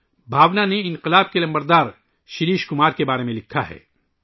بھاونا نے انقلابی شریش کمار کے بارے میں لکھا ہے